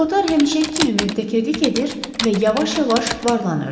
Kotar həmişəki kimi möhtəkirlik edir və yavaş-yavaş varlanırdı.